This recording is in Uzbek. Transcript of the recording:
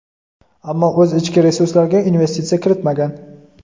ammo o‘z ichki resurslariga investitsiya kiritmagan.